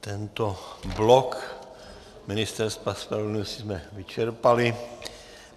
Tento blok Ministerstva spravedlnosti jsme vyčerpali.